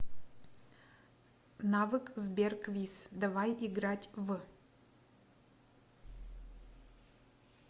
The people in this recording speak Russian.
навык сбер квиз давай играть в